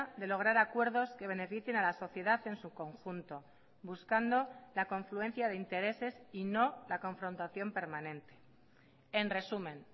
de lograr acuerdos que beneficien a la sociedad en su conjunto buscando la confluencia de intereses y no la confrontación permanente en resumen